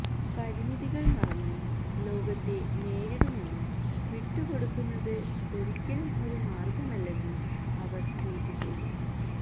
പരിമിതികള് മറന്ന് ലോകത്തെ നേരിടൂവെന്നും വിട്ടുകൊടുക്കുന്നത് ഒരിക്കലും ഒരു മാര്ഗമല്ലെന്നും അവര് ട്വീറ്റ് ചെയ്തു